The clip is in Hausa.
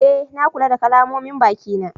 Eh, na kula da kalamomin baki na.